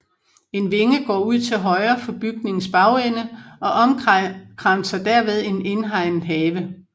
En vinge går ud til højre for bygningens bagende og omkranser derved en indhegnet have